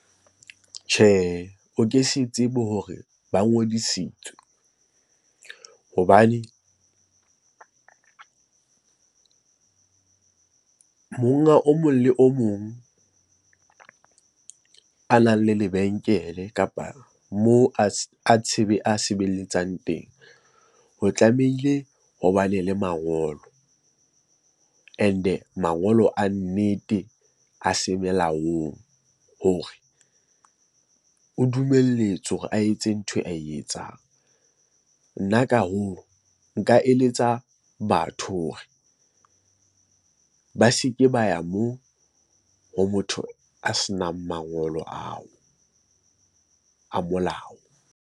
Tjhehe, o ke se tsebe hore ba ngodisitswe hobane monga o mong le o mong a nang le lebenkele kapa moo a sebeletsang teng ho tlamehile ho bane le mangolo and-e mangolo a nnete a semelaong hore o dumelletswe hore a etse ntho ae etsang. Nna nka eletsa batho hore ba se ke ba ya moo ho motho a senang mangolo ao a molao.